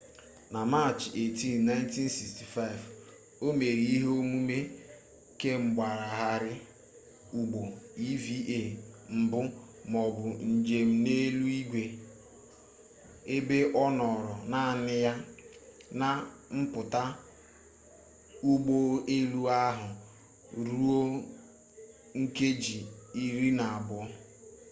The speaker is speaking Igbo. na machị 18 1965 o mere ihe omume kemgbagharị ụgbọ eva mbụ maọbụ njem n'eluigwe ebe ọ nọọrọ naanị ya na mpụta ụgbọ elu ahụ ruo nkeji iri na abụọ